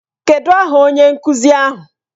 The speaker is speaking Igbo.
Kedụ aha onye nkuzi ahụ?